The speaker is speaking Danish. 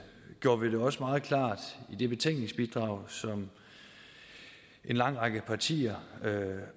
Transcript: gjorde vi det også meget klart i det betænkningsbidrag som en lang række partier